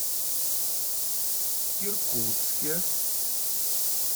иркутске